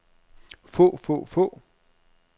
få få få